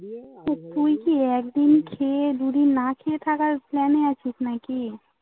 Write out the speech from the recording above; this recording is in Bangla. তো তুই কি একদিন খেয়ে দুইদিন না খেয়ে থাকার plan এ আছিস নাকি